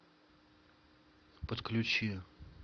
подключи